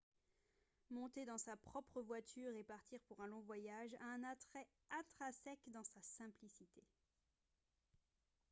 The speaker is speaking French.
monter dans sa propre voiture et partir pour un long voyage a un attrait intrinsèque dans sa simplicité